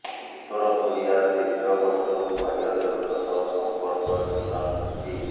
ଉତ୍ତର କୋରିଆ ଦୀର୍ଘ ବର୍ଷରୁ ବାହ୍ୟ ଜଗତ ସହ ସମ୍ପର୍କ ଛିନ୍ନ କରିଛି